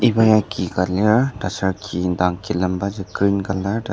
iba ya ki ka lir taser ki indang kilembaji green colour lir.